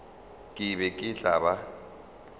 ke be ke tla ba